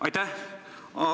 Aitäh!